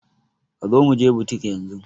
Kazo muje butik yanzun